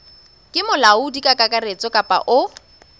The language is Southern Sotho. ke molaodi kakaretso kapa o